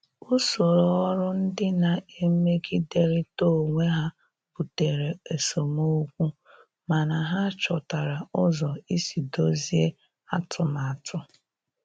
Usoro ọrụ ndị na-emegiderịta onwe ha butere esemokwu, mana ha chọtara ụzọ isi dọzie atụmatụ.